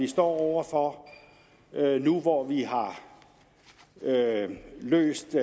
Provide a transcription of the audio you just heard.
står over for nu hvor vi har løst